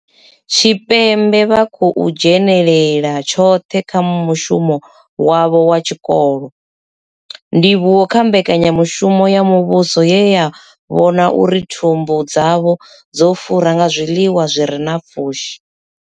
Tshipembe vha khou kona u dzhenela tshoṱhe kha mushumo wavho wa tshikolo, ndivhuwo kha mbekanyamushumo ya muvhuso ye ya vhona uri thumbu dzavho dzo fura nga zwiḽiwa zwire na pfushi.